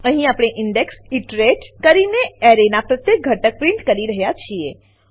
અહીં આપણે index iterate કરીને એરેનાં પ્રત્યેક ઘટક પ્રીંટ કરી રહ્યા છીએ